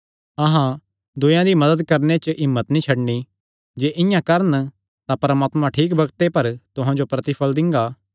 अहां दूयेयां दी मदत करणे च हिम्मत नीं छड्डन जे इआं करन तां परमात्मा ठीक बग्ते पर तुहां जो प्रतिफल़ दिंगा